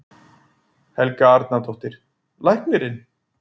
Helga Arnardóttir: Læknirinn?